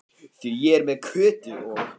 Því ég er með Kötu og